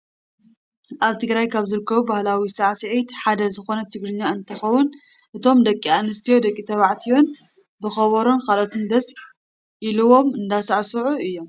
ኣብ ትግራይ ካብ ዝርከቡ ባህላዊ ሳዕስዒት ሓደ ዝኮነ ትግርኛ እንትከውን፣ እቶም ደቂ ኣንስትዮን ደቂ ተባዕትዮን ብከበሮን ካልኦትን ደስ ኢሊዎም እንዳሳዕስዑ እዮም።